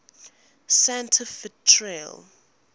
santa fe trail